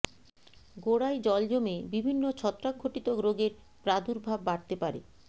গোড়ায় জল জমে বিভিন্ন ছত্রাকঘটিত রোগের প্রাদুর্ভাব বাড়তে পারে